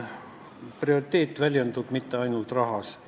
Prioriteet ei väljendu ainult rahas.